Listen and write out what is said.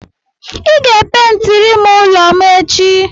Ị ga-epentirim ụlọ m echi.